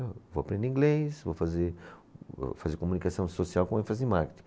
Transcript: Eu vou aprender inglês, vou fazer, fazia comunicação social com ênfase em marketing.